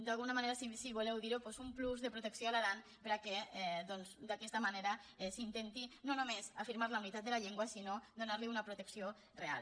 d’alguna manera si vo·leu dir·ho doncs un plus de protecció a l’aran perquè d’aquesta manera s’intenti no només afirmar la unitat de la llengua sinó donar·li una protecció real